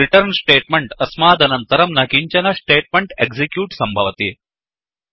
return statement अस्मादनन्तरं न किञ्चन स्टेट्मेण्ट् एक्सिक्यूट् सम्भवति